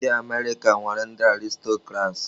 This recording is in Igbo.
Ndị Amerika nwere ndị Aristọkrats.